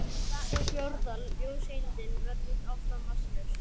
Sú fjórða, ljóseindin, verður áfram massalaus.